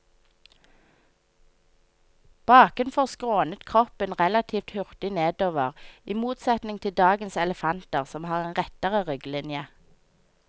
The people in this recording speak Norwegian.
Bakenfor skrånet kroppen relativt hurtig nedover, i motsetning til dagens elefanter som har en rettere rygglinje.